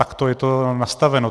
Takto je to nastaveno.